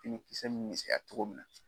Fini kisɛ mi misɛya togo min na